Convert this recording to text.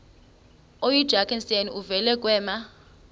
oyidrakenstein uvele kwema